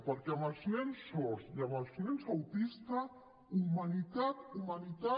perquè amb els nens sords i amb els nens autistes humanitat humanitat